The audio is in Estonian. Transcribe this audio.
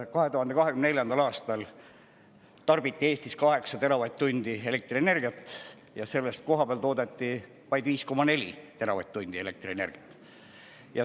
2024. aastal tarbiti Eestis 8 teravatt-tundi elektrienergiat, aga sellest kohapeal toodeti vaid 5,4 teravatt-tundi elektrienergiat.